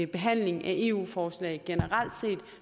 behandling af eu forslag generelt set